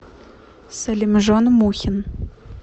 салимжон мухин